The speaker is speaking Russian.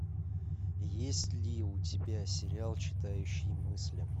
есть ли у тебя сериал читающий мысли